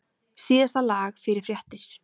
Síðasta lag fyrir fréttir.